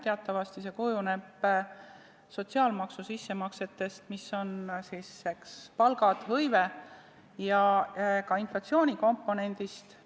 Teatavasti kujuneb see sotsiaalmaksu sissemaksetest, mis kujunevad palkade, hõive ja ka inflatsioonikomponendi põhjal.